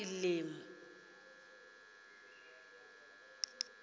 elimi